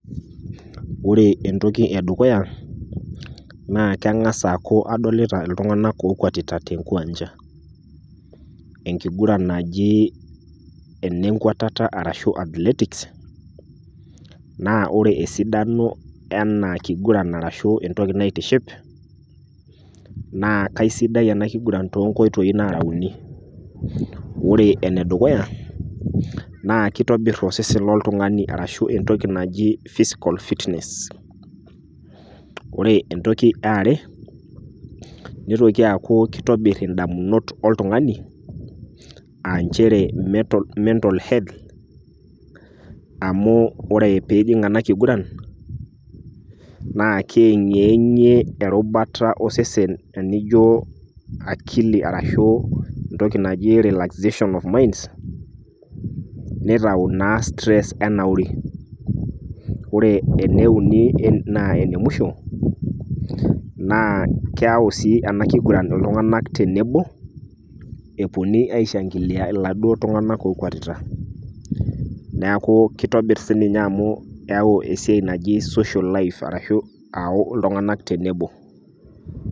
ore entoki ee dukuya naa keng'as aaku adolita iltung'anak oo kwatita te nkiwanja. enkiguran naji ene nkuatata arashu athletics naa ore esidano ena kiguran arashu entoki naaitiship naa kaisidai ena kigura too nkoitoi naara uni. ore ene dukuya naa keitobir osesen loltung'ani arashu entoki naji physical fitness. ore entoki ee are neitoki aaku keitobir indamunot oltung'ani aa inchere mental health amu ore pee injing' ena kiguran naa keeng'eng'e erubata osesen tenijo akili arashu enoki naji relaxation of mind neitayu naa stress enauri. ore eneuni naa enewisho naa keyau sii ena kiguran iltung'anak tenebo, epuonu aishag'ilia iladuo tung'anak okwetita neaku keitobir sii ninye amu eyau esiai naji social life arashu ayau iltung'anak tenebo.